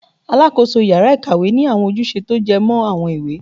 Alakoso ìyára-ikawé ni awọn ojúsẹ ti o jọmọ awọn ìwé